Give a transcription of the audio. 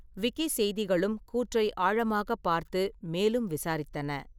விக்கிசெய்திகளும் கூற்றை ஆழமாகப் பார்த்து மேலும் விசாரித்தன.